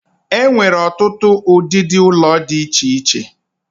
E nwere otutu udidi ulo di iche iche.